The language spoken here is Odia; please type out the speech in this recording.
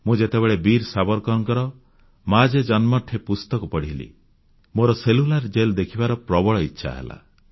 ମୁଁ ଯେତେବେଳେ ବୀର ସାବରକରଙ୍କ ମାଝି ଜନ୍ମଠେ ପୁସ୍ତକ ପଢ଼ିଲି ମୋର ସେଲ୍ୟୁଲାର ଜେଲ୍ ଦେଖିବାର ପ୍ରବଳ ଇଚ୍ଛା ହେଲା